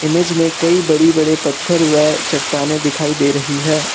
Image में कई बड़े बड़े पत्थर व चट्टानें दिखाई दे रही है।